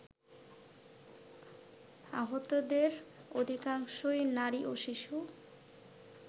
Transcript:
আহতদের অধিকাংশই নারী ও শিশু